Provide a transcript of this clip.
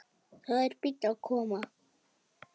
Það er bíll að koma.